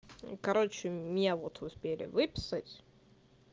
короче меня вот успели выписать